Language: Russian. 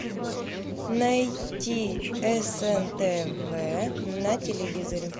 найди снтв на телевизоре